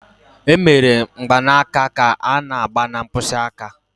Emebere mgbanaka ka a n'agba na mkpịsị aka